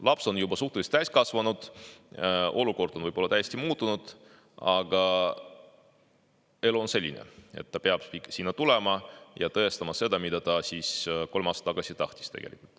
Laps on juba suhteliselt täiskasvanu, olukord on võib-olla täiesti muutunud, aga elu on selline, et ta peab sinna tulema ja tõestama seda, mida ta siis kolm aastat tagasi tahtis.